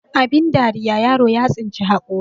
Abin dariya yaro ya tsinci hakuri